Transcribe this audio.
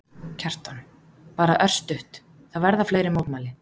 Kjartan: Bara örstutt, það verða fleiri mótmæli?